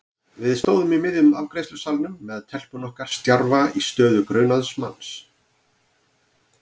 Við stóðum í miðjum afgreiðslusalnum með telpuna okkar stjarfa í stöðu grunaðs manns.